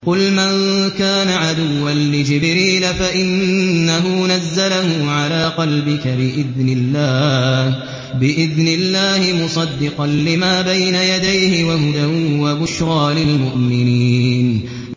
قُلْ مَن كَانَ عَدُوًّا لِّجِبْرِيلَ فَإِنَّهُ نَزَّلَهُ عَلَىٰ قَلْبِكَ بِإِذْنِ اللَّهِ مُصَدِّقًا لِّمَا بَيْنَ يَدَيْهِ وَهُدًى وَبُشْرَىٰ لِلْمُؤْمِنِينَ